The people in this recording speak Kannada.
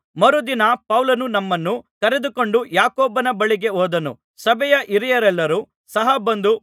ಮರುದಿನ ಪೌಲನು ನಮ್ಮನ್ನು ಕರೆದುಕೊಂಡು ಯಾಕೋಬನ ಬಳಿಗೆ ಹೋದನು ಸಭೆಯ ಹಿರಿಯರೆಲ್ಲರು ಸಹ ಬಂದರು